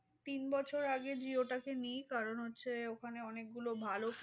তিন বছর আগে jio টাকে নি কারণ হচ্ছে ওখানে অনেক গুলো ভালো